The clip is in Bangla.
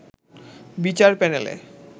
বিচার প্যানেলে